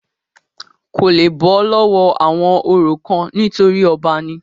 kò le bọ́ lọ́wọ́ àwọn orò kan nítorí ọba ni